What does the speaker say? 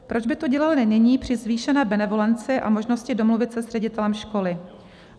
Proč by to dělali nyní při zvýšené benevolenci a možnosti domluvit se s ředitelem školy?